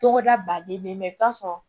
Togoda baden be yen i bi t'a sɔrɔ